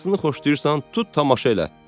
Hansını xoşlayırsan, tut tamaşa elə."